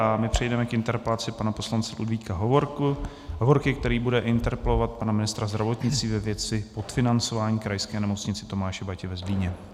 A my přejdeme k interpelaci pana poslance Ludvíka Hovorky, který bude interpelovat pana ministra zdravotnictví ve věci podfinancování Krajské nemocnice Tomáše Bati ve Zlíně.